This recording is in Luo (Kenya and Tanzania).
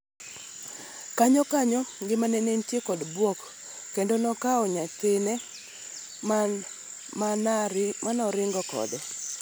kanyo kanyo ngimana nenitie kod buok kendo nakawo nyathina manaringo kode.